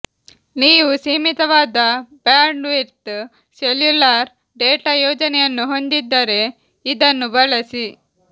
ನೀವು ಸೀಮಿತವಾದ bandwidth cellular data ಯೋಜನೆಯನ್ನು ಹೊಂದಿದ್ದರೆ ಇದನ್ನು ಬಳಸಿ